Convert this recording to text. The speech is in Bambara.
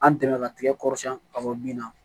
An dɛmɛ ka tigɛ kɔrɔsiyɛn ka bɔ bin na